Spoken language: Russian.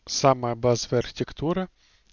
самая базовая архитектура